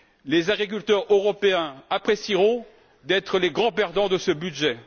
Les agriculteurs européens apprécieront d'être les grands perdants de ce budget.